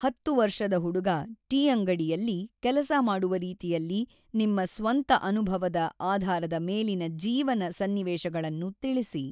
ಹತ್ತು ವರ್ಷದ ಹುಡುಗ ಟೀ ಅಂಗಡಿಯಲ್ಲಿ ಕೆಲಸ ಮಾಡುವ ರೀತಿಯಲ್ಲಿ ನಿಮ್ಮ ಸ್ವಂತ ಅನುಭವದ ಆಧಾರದ ಮೇಲಿನ ಜೀವನ ಸನ್ನಿವೇಶಗಳನ್ನು ತಿಳಿಸಿ.